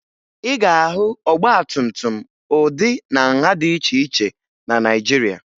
Ị ga-ahụ ọgbatumtum ụdị na nha dị iche iche na Naịjirịa